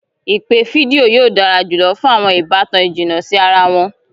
Ipe fidio yóò dara julọ fun awọn ibatan ijinna si ara wọn.